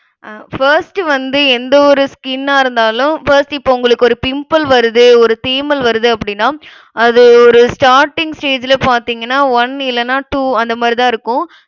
அஹ் first வந்து, எந்த ஒரு skin ஆ இருந்தாலும், first இப்போ உங்களுக்கு ஒரு pimple வருது, ஒரு தேமல் வருது அப்படின்னா, அது ஒரு starting stage ல பார்த்தீங்கன்னா one இல்லன்னா two அந்த மாதிரிதான் இருக்கும்